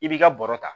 I b'i ka bɔrɔ ta